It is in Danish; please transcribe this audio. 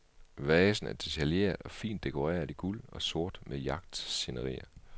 Vasen er detaljeret og fint dekoreret i guld og sort med jagtscenerier.